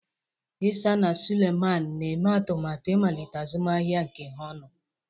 Isah na Suleiman na-eme atụmatụ ịmalite azụmahịa nke ha ọnụ.